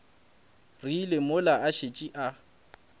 rile mola a šetše a